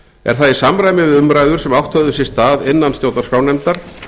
er það í samræmi við umræður sem átt höfðu sér stað innan stjórnarskrárnefndar